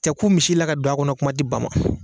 Tɛ ku misi la ka don a kɔnɔ kuma tɛ ba ma